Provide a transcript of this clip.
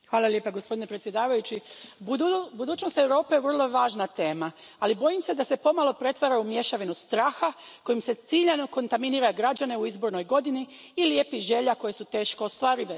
Poštovani predsjedavajući, budućnost Europe vrlo je važna tema, ali bojim se da se pomalo pretvara u mješavinu straha kojim se ciljano kontaminira građane u izbornoj godini i lijepih želja koje su teško ostvarive.